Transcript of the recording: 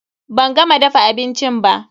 Ban gama dafa abincin ba.